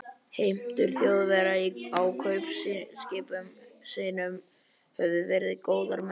Heimtur Þjóðverja á kaupskipum sínum höfðu verið góðar, meðan